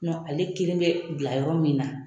Nɔ ale kelen be bila yɔrɔ min na.